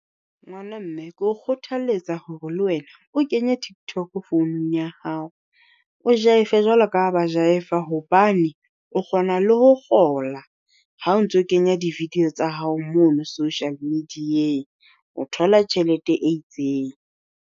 Ngwana mme ke o kgothaletsa hore le wena o kenye tiktok founung ya hao, o Jaife jwalo ka ha ba Jaifa hobane o kgona le ho kgola. Ha o ntso kenya di-video tsa hao mono social media-eng o thola tjhelete e itseng.